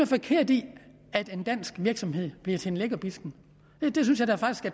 forkert i at en dansk virksomhed bliver til en lækkerbisken